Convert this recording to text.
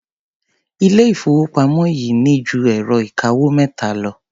Ilé-ìfowópamọ́ yìí ní ju ẹ̀rọ-ìkawó mẹ́ta lọ.